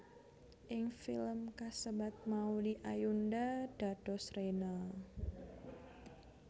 Ing film kasebat Maudy Ayunda dados Rena